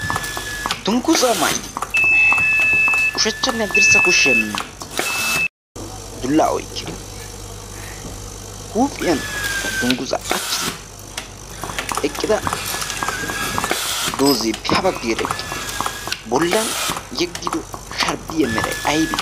dunggusaa maa'idi ushachchanne addirssa kushiyan dullaa oykidi huuphiyankka dunggusaaqqachchidi eqqida dooziipihabaggiireeqqi bollan yeggido sharbbiya meray aybee?